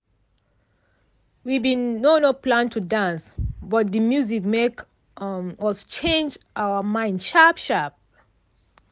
we bin no no plan to dance but de music make um us change um mind sharp sharp.